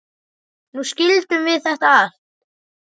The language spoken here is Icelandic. Nú skildum við þetta allt.